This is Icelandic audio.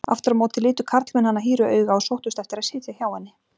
Aftur á móti litu karlmenn hana hýru auga og sóttust eftir að sitja hjá henni.